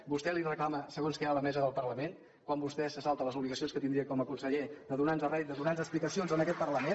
vostè li reclama segons què a la mesa del parlament quan vostè se salta les obligacions que tindria com a conseller de donar nos rèdit de donar nos explicacions en aquest parlament